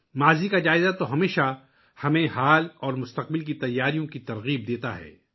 ماضی کا مشاہدہ ہمیشہ ہمیں حال اور مستقبل کی تیاریوں کے لیے تحریک دیتا ہے